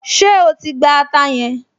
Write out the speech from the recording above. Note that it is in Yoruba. Ṣé o ti gba ata yẹn?